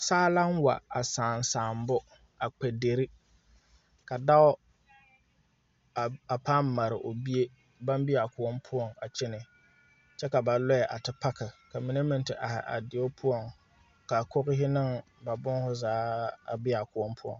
Saa la wa a sãã sããbo kpɛ dere ka dao a pãã mare o bie baŋ be a kõɔ poɔ a kyɛnɛ kyɛ ka ba loɛ a te paaki ka mine meŋ te ahi a deo poɔ ka a kogihi ne ba booho zaa be a kõɔ poɔ.